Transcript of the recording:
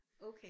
Okay